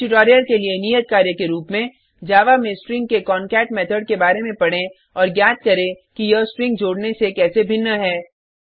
इस ट्यूटोरियल के लिए नियत कार्य के रूप में जावा में स्ट्रिंग के कॉनकैट मेथड के बार में पढ़ें और ज्ञात करें कि यह स्ट्रिंग जोड़ने से कैसे भिन्न है